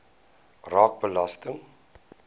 raak belasting